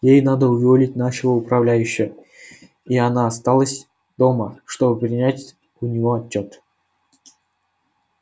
ей надо уволить нашего управляющего и она осталась дома чтобы принять у него отчёт